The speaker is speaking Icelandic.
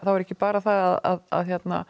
er ekki bara það að